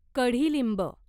कढीलिंब